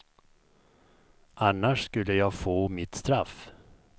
Annars skulle jag få mitt straff.